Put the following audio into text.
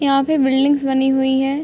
यहाँ पे बिल्डिंग्स बनी हुई हैं।